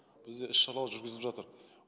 бізде іс шаралар жүргізіліп жатыр